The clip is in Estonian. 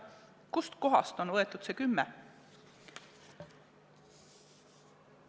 Kust kohast on võetud see kümme aastat?